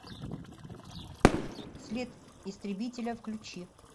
след истребителя включи